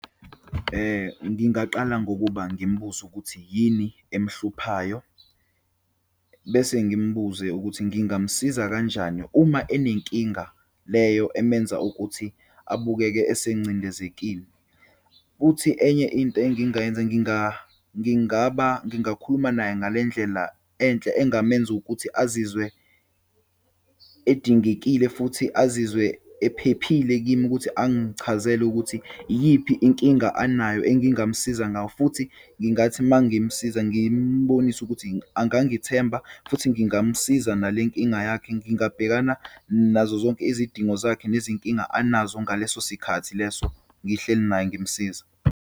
Ngingaqala, ngokuba ngimbuze ukuthi yini emhluphayo. Bese ngimbuze ukuthi ngingamsiza kanjani. Uma enenkinga leyo emenza ukuthi abukeke esengcindezekile. Futhi enye into engingayenza, ngingaba, ngingakhuluma naye ngale ndlela enhle engamenza ukuthi azizwe edingekile futhi azizwe ephephile kimi ukuthi angichazele ukuthi iyiphi inkinga anayo engingamsiza ngayo. Futhi ngingathi uma ngimsiza, ngimbonise ukuthi angangithemba futhi ngingamsiza nale nkinga yakhe. Ngingabhekana nazo zonke izidingo zakhe nezinkinga anazo ngaleso sikhathi leso ngihleli naye ngimsiza.